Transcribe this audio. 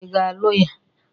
Ị ga-alụ ya?